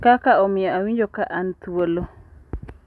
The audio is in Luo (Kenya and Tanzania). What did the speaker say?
Kaka omiyo awinjo ka an thuolo.